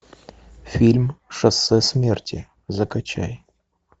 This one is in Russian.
фильм шоссе смерти закачай